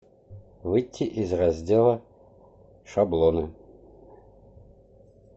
выйти из раздела шаблоны